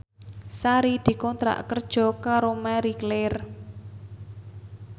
Sari dikontrak kerja karo Marie Claire